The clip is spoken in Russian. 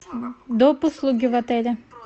доп услуги в отеле